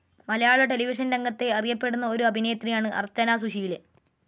മലയാള television രംഗത്തെ അറിയപ്പെടുന്ന ഒരു അഭിനേത്രിയാണ് അർച്ചന സുശീലൻ.